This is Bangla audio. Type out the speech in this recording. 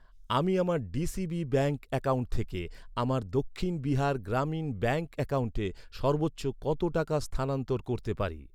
আমি আমার ডিসিবি ব্যাঙ্ক অ্যাকাউন্ট থেকে আমার দক্ষিণ বিহার গ্রামীণ ব্যাঙ্ক অ্যাকাউন্টে সর্বোচ্চ কত টাকা স্থানান্তর করতে পারি?